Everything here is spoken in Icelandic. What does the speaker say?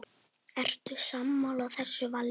Ertu sammála þessu vali?